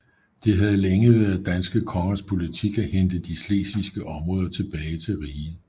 Det havde længe været danske kongers politik at hente de slesvigske områder tilbage til riget